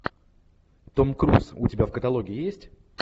том круз у тебя в каталоге есть